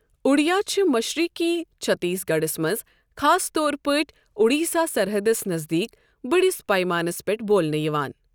اوڈیا چھِ مشرقی چھتیس گڑھس منٛز خاص طور پٲٹھۍ اوڈیسا سَرحَدس نزدیٖک بٔڑس پَیمانَس پٮ۪ٹھ بولنہٕ یِوان۔